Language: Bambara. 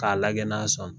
K'a lajɛ n'a sɔnna